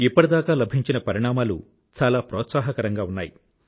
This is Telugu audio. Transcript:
ఇప్పటిదాకా లభించిన పరిణామాలు చాలా ప్రోత్సాహకరంగా ఉన్నాయి